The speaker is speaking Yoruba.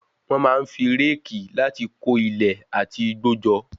Wọ́n máa ń fi réèkì láti kó ilẹ̀ àti igbó jọ.